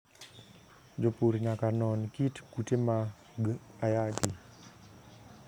Jopur nyaka non kit kute mag ayaki.